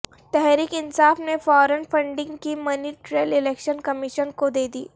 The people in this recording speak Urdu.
تحریک انصاف نے فارن فنڈنگ کی منی ٹریل الیکشن کمیشن کودیدی